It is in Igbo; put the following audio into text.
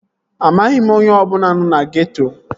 Amaghị m onye ọbụla nọ na geeto